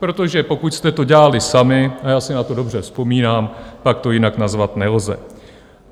Protože pokud jste to dělali sami, a já si na to dobře vzpomínám, pak to jinak nazvat nelze.